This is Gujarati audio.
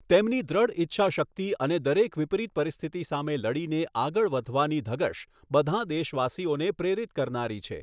તેમની દૃઢ ઇચ્છાશક્તિ અને દરેક વિપરિત પરિસ્થિતિ સામે લડીને આગળ વધવાની ધગશ બધાં દેશવાસીઓને પ્રેરિત કરનારી છે.